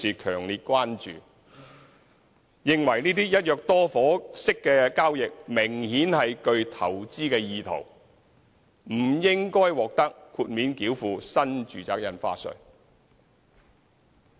他們認為，這些"一約多伙"式交易明顯具投資意圖，不應獲得豁免繳付新住宅印花稅。